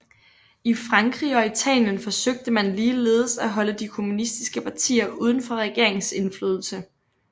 I Frankrig og Italien forsøgte man ligeledes at holde de kommunistiske partier udenfor regeringsindflydelse